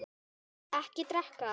Ekki drekka.